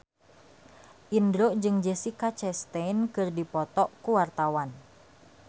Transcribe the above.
Indro jeung Jessica Chastain keur dipoto ku wartawan